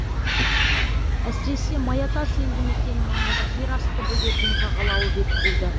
әсіресе маятас елді мекені маңында жерасты бөгетінің жағалауы бекітілді